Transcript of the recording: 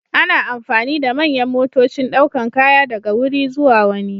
Ana amfani da manyan motocin daukar kaya daga wuri zuwa wani.